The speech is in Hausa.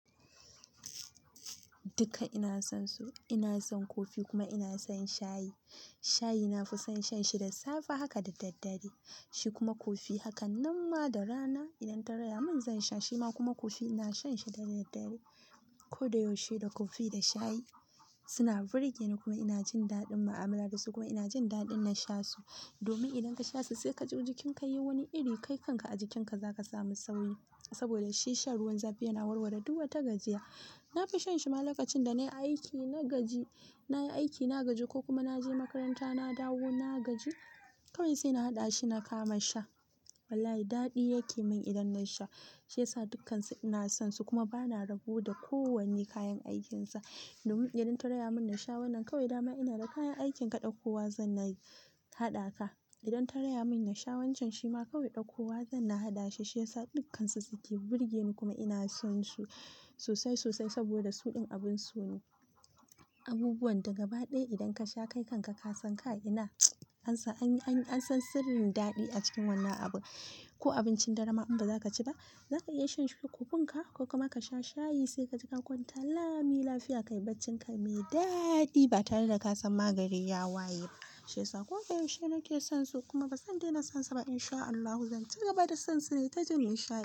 Duka ina son su, ina son kofi kuma ina son shayi. Shayi na fi son shan shi da safe haka da daddare, shi kuma kofi. Haka nan ma da rana idan ta raya min zan sha, shi ma kuma kofi ina shan shi da daddare. Ko da yaushe da kofi da shayi suna birge ni kuma ina jin daɗin mu'amala da su kuma ina jin daɗin na sha su. Domin idan ka sha su sai ka ji jikin ka yayi wani iri, ƙaikan ka a jikin ka za ka samu sauƙi saboda shi shan ruwan zafi yana warware duk wata gajiya. Na fi shan shi ma lokacin da na yi aiki, na gaji, na yi aiki na gaji ko kuma na je makaranta na dawo na gaji. Kawai sai na haɗa shi na kama sha. Wallahi daɗi yake min idan na sha. Shi ya sa dukkansu ina son su kuma ba na rabu da kowanne kayan aikinsa. Domin idan ta raya min na sha wannan kawai, dama ina da kayan aikin kaɗai. Kowa zanna yi, haɗa ka. Idan ta raya min na sha wancan shi ma kawai ɗakowa zanna haɗa shi. Shi ya sa dukkansu suke birge ni kuma ina son su sosai, sosai saboda su ɗin abun so ne. Abubuwan daga ba ɗaya idan ka sha ƙaikan ka, ka san ka ina ansan anyi, anyi, an san sirrin daɗi a cikin wannan abu. Ko abincin dare ma in ba za ka ci ba, za ka iya shan shi da kofin ka ko kuma ka sha shayi sai ka ji ka kwanta. Lami, lafiya, ƙai baccin ka mai daɗi ba tare da ka san magani ya waye ba. Shi ya sa ko da yaushe nake son su kuma ba zan daina son su ba. In sha Allahu zan ci gaba da son su ne ta jin nishaɗi.